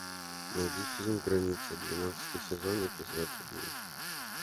найди фильм граница двенадцатый сезон эпизод один